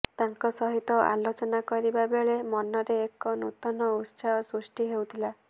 ତାଙ୍କ ସହିତ ଆଲୋଚନା କରିବା ବେଳେ ମନରେ ଏକ ନୂତନ ଉତ୍ସାହ ସୃଷ୍ଟି ହେଉଥିଲା